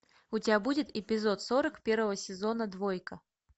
у тебя будет эпизод сорок первого сезона двойка